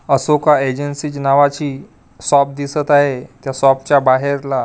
Ashoka agency च नावाची shop दिसत आहे त्या शॉपच्या बाहेरला --